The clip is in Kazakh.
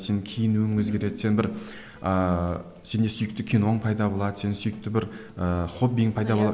сенің киінуің өзгереді сен бір ыыы сенде сүйікті киноң пайда болады сен сүйікті бір ііі хоббиің пайда